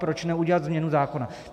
Proč neudělat změnu zákona?